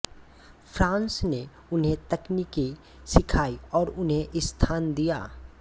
France ने उन्हें तकनीकें सिखाईं और उन्हें स्थान दिया